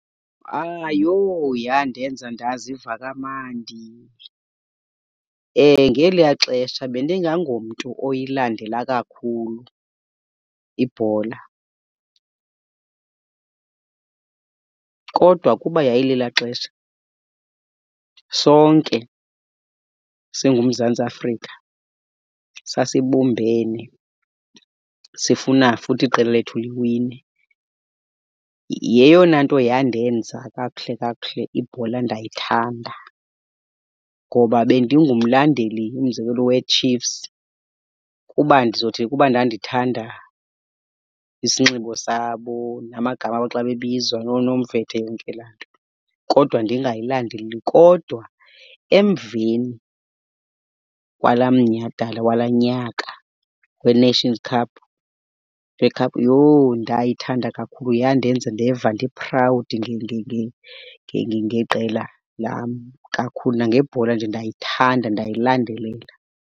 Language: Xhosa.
Ayho yandenza ndaziva kamandi. Ngeliya xesha bendingangomntu oyilandela kakhulu ibhola kodwa kuba yayilelaa xesha sonke singuMzantsi Afrika sasibumbene sifuna futhi iqela lethu liwine. Yeyona nto yandenza kakuhle kakuhle ibhola ndayithanda. Ngoba bendingumlandeli, umzekelo, weChiefs kuba ndizothi kuba ndandithanda isinxibo sabo namagama abo xa bebizwa nooNomvete yonke laa nto, kodwa ndingayilandeli. Kodwa emveni kwalaa mnyhadala walaa nyaka weNations Cup , yho ndayithanda kakhulu. Yandenza ndeva ndi-proud ngeqela lam kakhulu nangebhola nje ndayithanda ndayilandelela.